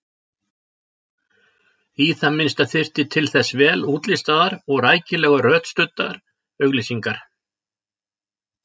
Í það minnsta þyrfti til þess vel útlistaðar og rækilega rökstuddar auglýsingar.